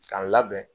K'a labɛn